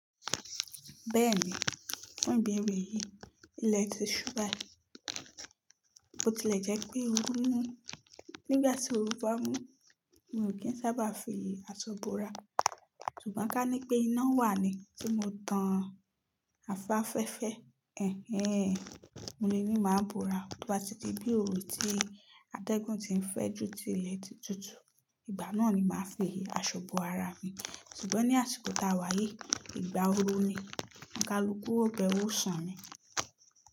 Bẹ́ẹ̀ni, fún ìbéèrè yìí, ilẹ ti ṣú bai, bo ti lè jẹ́ pé oru ń mú. Nígbà tí oru bá mú, mo ò kí ń sábà fi àṣọ búra. Ṣùgbọ́n ká ní pé iná wà ni tí mo tan àfàfẹ́fẹ́. Ẹ̀hẹ́n, mo le ni máa bo'ra. Tí o bá ti di bí òru ti atẹ́gùn ti ń fẹ́ ju ti ilẹ̀ ti tutù, ìgbà náà ni màá fi àṣọ bo ara mi. Ṣùgbọ́n ní àsìkò táa wá yìí, ìgbà oru ni, kaluku o b'ẹwu sun ni.